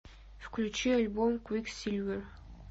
включи альбом квиксильвер